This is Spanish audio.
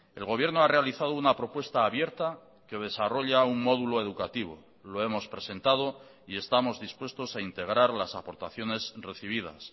el gobierno ha realizado una propuesta abierta que desarrolla un módulo educativo lo hemos presentado y estamos dispuestos a integrar las aportaciones recibidas